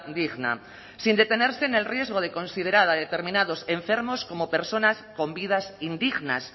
digna sin detenerse en el riesgo de considerar a determinados enfermos como personas con vidas indignas